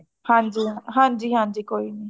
ਹਾਂਜੀ ਹਾਂ ਹਾਂਜੀ ਹਾਂਜੀ ਕੋਈ ਨੀ